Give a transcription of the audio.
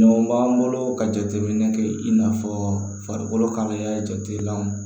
Ɲɔgɔn b'an bolo ka jateminɛ kɛ i n'a fɔ farikolo kalaya jatelanw